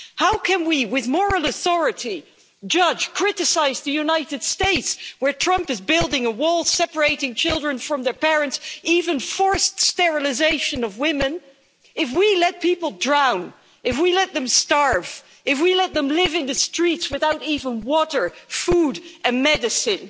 How can we with moral authority judge, criticise the United States where Trump is building a wall, separating children from their parents, even forced sterilisation of women, if we let people drown, if we let them starve, if we let them live in the streets without even water, food and medicine?